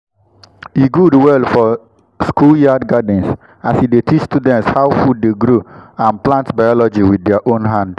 e good well for schoolyard gardens as e dey teach students how food dey grow and plant biology with their own hand.